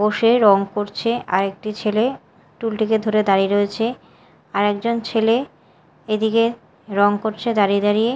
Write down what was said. বসে রং করছে আর একটি ছেলে টুলটিকে ধরে দাঁড়িয়ে রয়েছে আর একজন ছেলে এদিকে রং করছে দাঁড়িয়ে দাঁড়িয়ে।